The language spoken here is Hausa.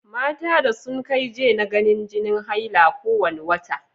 Mata da sun kai j na ganin jini haila ko wane wata.